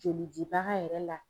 Joli dibaga yɛrɛ la.